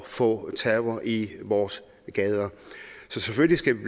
få terror i vores gader så selvfølgelig skal vi